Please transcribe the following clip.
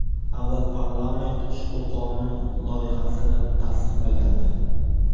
Avval parlament ushbu qonun loyihasini tasdiqlagandi.